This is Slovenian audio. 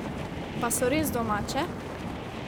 Pa so res domače?